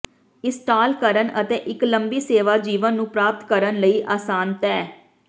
install ਕਰਨ ਅਤੇ ਇੱਕ ਲੰਬੀ ਸੇਵਾ ਜੀਵਨ ਨੂੰ ਪ੍ਰਾਪਤ ਕਰਨ ਲਈ ਆਸਾਨ ਤੈਅ